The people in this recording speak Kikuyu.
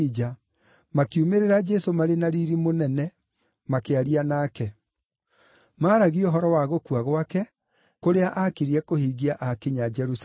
makiumĩrĩra Jesũ marĩ na riiri mũnene makĩaria nake. Maaragia ũhoro wa gũkua gwake, kũrĩa aakirie kũhingia akinya Jerusalemu.